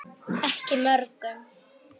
Ekki mörgum.